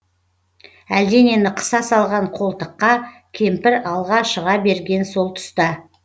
әлденені қыса салған қолтыққа кемпір алға шыға берген сол тұста